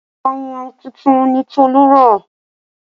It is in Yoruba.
Ayùn tuntun ni Tolu rà